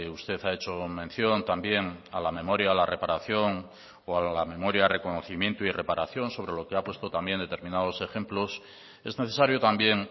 usted ha hecho mención también a la memoria a la reparación o a la memoria reconocimiento y reparación sobre lo que ha puesto también determinados ejemplos es necesario también